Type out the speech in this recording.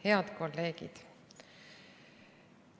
Head kolleegid!